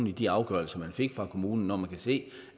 i de afgørelser de fik fra kommunen når man kan se